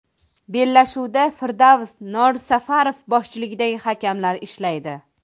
Bellashuvda Firdavs Norsafarov boshchiligidagi hakamlar ishlaydi.